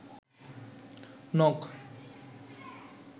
নখ